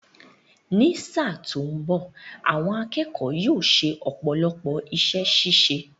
Ní sáà tó mbọ̀, àwọn akẹ́kọ̀ọ́ yóò ṣe ọ̀pọ̀lọpọ̀ iṣẹ́ ṣíṣe